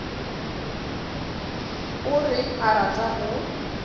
o reng a rata go